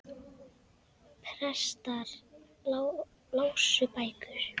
Prestar lásu bækur.